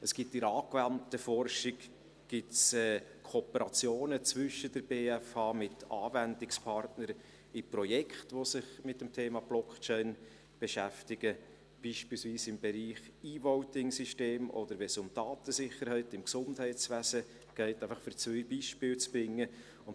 Es gibt in der angewandten Forschung Kooperationen zwischen der BFH mit Anwendungspartnern in Projekten, die sich mit dem Thema Blockchain beschäftigen, beispielsweise im Bereich eVoting-Systeme oder wenn es um Datensicherheit im Gesundheitswesen geht, um zwei Beispiele zu nennen.